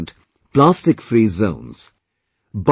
They ensured plastic free zones